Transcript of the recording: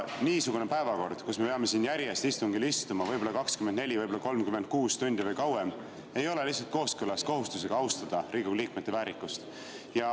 Niisugune päevakord, kus me peame siin järjest istungil istuma võib‑olla 24, võib‑olla 36 tundi või kauem, ei ole lihtsalt kooskõlas kohustusega austada Riigikogu liikmete väärikust.